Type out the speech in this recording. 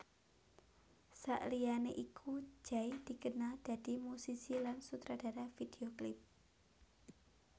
Saliyane iku Jay dikenal dadi musisi lan sutradara video klip